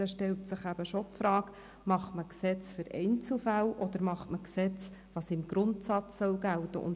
Es stellt sich die Frage, ob man ein Gesetz für Einzelfälle macht, oder ob man Gesetze für das macht, was im Grundsatz gelten soll.